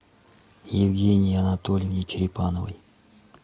евгении анатольевне черепановой